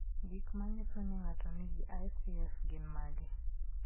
Gik manyiso ni ng'ato nigi ICF gin mage?